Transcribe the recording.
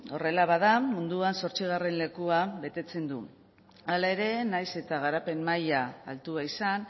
horrela bada munduan zortzigarren lekua betetzen du hala ere nahiz eta garapen maila altua izan